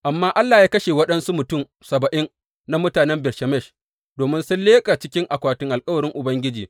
Amma Allah ya kashe waɗansu mutum saba’in na mutanen Bet Shemesh domin sun leƙa cikin akwatin alkawarin Ubangiji.